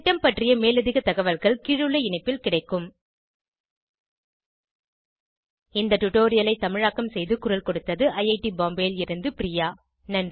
இந்த திட்டம் பற்றிய மேலதிக தகவல்கள் கீழுள்ள இணைப்பில் கிடைக்கும் இந்த டுடோரியலை தமிழாக்கம் செய்து குரல் கொடுத்தது ஐஐடி பாம்பேவில் இருந்து பிரியா